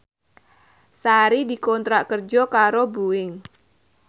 Sari dikontrak kerja karo Boeing